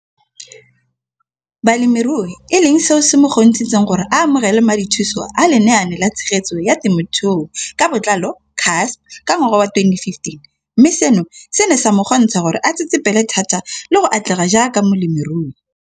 Balemirui e leng seo se mo kgontshitseng gore a amogele madithuso a Lenaane la Tshegetso ya Te mothuo ka Botlalo, CASP] ka ngwaga wa 2015, mme seno se ne sa mo kgontsha gore a tsetsepele thata le go atlega jaaka molemirui.